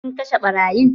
Ku kashe ɓarayin!